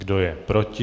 Kdo je proti?